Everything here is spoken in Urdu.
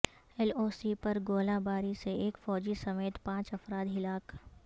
ایل او سی پر گولہ باری سے ایک فوجی سمیت پانچ افراد ہلاک